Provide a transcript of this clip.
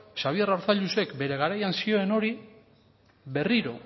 xabier arzallusek bere garaian zioen hori berriro